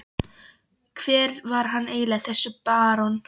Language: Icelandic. Hver var hann eiginlega, þessi barón?